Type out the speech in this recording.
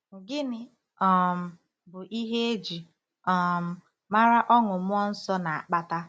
Gịnị um bụ ihe e ji um mara ọṅụ mmụọ nsọ na-akpata?